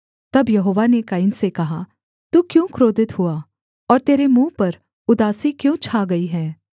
तब यहोवा ने कैन से कहा तू क्यों क्रोधित हुआ और तेरे मुँह पर उदासी क्यों छा गई है